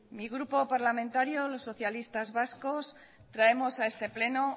mi grupo parlamentario los socialistas vascos traemos a este pleno